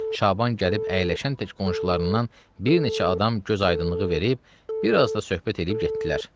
Şaban gəlib əyləşən tək qonşularından bir neçə adam gözaydınlığı verib, bir az da söhbət eləyib getdilər.